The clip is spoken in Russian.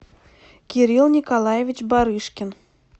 кирилл николаевич барышкин